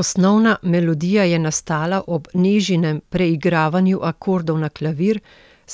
Osnovna melodija je nastala ob Nežinem preigravanju akordov na klavir,